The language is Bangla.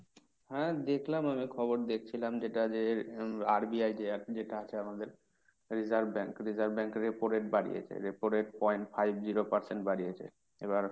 হ্যাঁ দেখলাম আমি খবর দেখছিলাম যেটা যের RBI যে যেটা আছে আমাদের reserve bank। reserve bank এর repo rate বাড়িয়েছে repo rate point five zero percent বাড়িয়েছে। এবার,